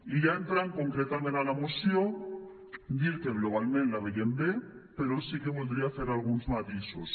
i ja entrant concretament a la moció dir que globalment la veiem bé però sí que voldria fer alguns matisos